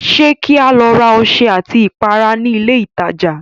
Ṣé kí a lọ ra ọṣẹ àti ìpara ní ilé ìtajà?